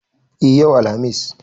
E, yau Alhamis.